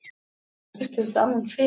Þetta er alltof algengt.